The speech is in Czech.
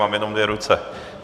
Mám jenom dvě ruce.